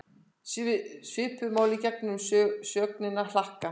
Svipuðu máli gegnir með sögnina hlakka.